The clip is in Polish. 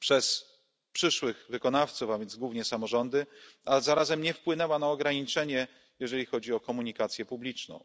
przez przyszłych wykonawców, a więc głównie samorządy, a zarazem nie wpłynęła na ograniczenie, jeżeli chodzi o komunikację publiczną.